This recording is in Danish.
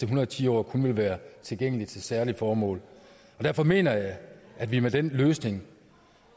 hundrede og ti år kun vil være tilgængelige til særlige formål derfor mener jeg at vi med den løsning